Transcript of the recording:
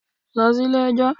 Lọ sí ilé ẹjọ́.